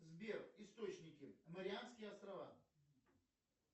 сбер источники марианские острова